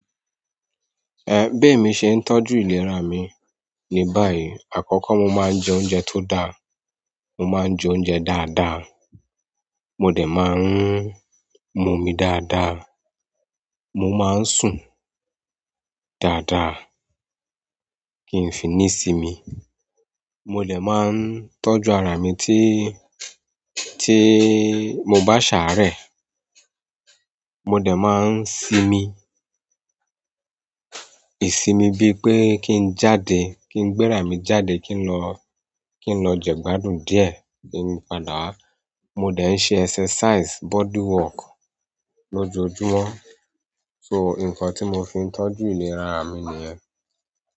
Bi emi ṣe ń tọ́jú ìlera mi ní báyìí. Àkọ́kọ́ mo máa ń jẹ oúnjẹ tó dáa, mo máa ń jẹ oúnjẹ dáadáa, mo dẹ̀ máa ń mu omi dáadáa, mo máa ń sùn dáadáa kí n fi ní sí mi. Mo de ma n tọ́jú ara mi ti, ti mo ba saare mo de máa ń sinmi, ìsinmi bí pé kí n jáde, kí n gbé ra mi jáde, kí n lọ, kí n lọ jẹ́ gbádùn díẹ̀ kí n padà wa mo de ń ṣe exercise, body work lójoojúmọ́. Nǹkan ti mo fi n tọ́jú ìlera ara mi niyen.